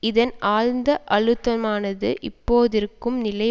இதன் ஆழ்ந்த அழுத்தமானது இப்போதிருக்கும் நிலை